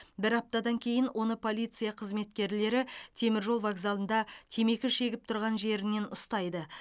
бір аптадан кейін оны полиция қызметкерлері теміржол вокзалында темекі шегіп тұрған жерінен ұстайды